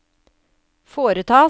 foretas